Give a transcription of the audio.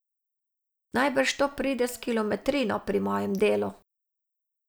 Najbrž to pride s kilometrino pri mojem delu.